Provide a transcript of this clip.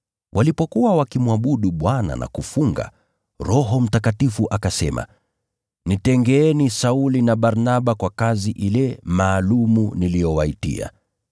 Walipokuwa wakimwabudu Bwana na kufunga, Roho Mtakatifu akasema, “Nitengeeni Sauli na Barnaba kwa kazi ile maalum niliyowaitia.”